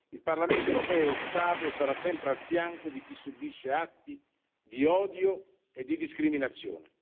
Il Parlamento europeo è stato e sarà sempre al fianco di chi subisce atti di odio e di discriminazione.